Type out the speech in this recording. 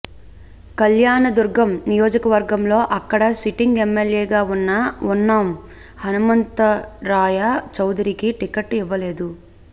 కల్యాణదుర్గం నియోజకవర్గంలో అక్కడ సిట్టింగ్ ఎమ్మెల్యేగా ఉన్న ఉన్నం హనుమంతరాయ చౌదరికి టిక్కెట్ ఇవ్వలేదు